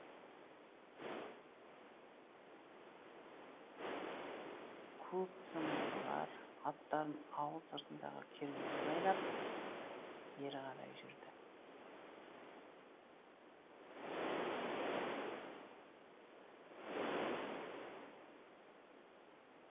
көп ұзамай олар аттарын ауыл сыртындағы кермеге байлап бері қарай жүрді